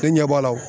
E ɲɛ b'a la